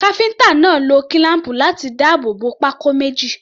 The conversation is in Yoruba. Káfíńtà náà lo kílám̀pù láti dáàbò bo pákó méjì.